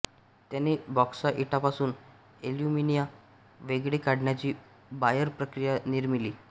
त्याने बॉक्साइटापासून ऍल्युमिना वेगळे काढण्याची बायर प्रक्रिया निर्मिली